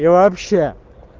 да вообще